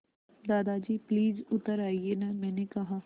दादाजी प्लीज़ उतर आइये न मैंने कहा